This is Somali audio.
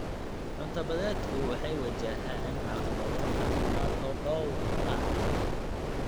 Cunto-badeedku waxay wajahaan caqabado caafimaad oo dhowr ah.